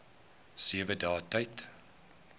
sewe dae tyd